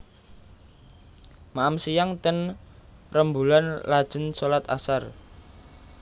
Maem siang ten Remboelan lajen solat asar